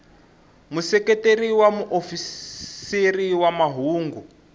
museketeri wa muofisiri wa mahungu